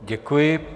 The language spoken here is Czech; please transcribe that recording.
Děkuji.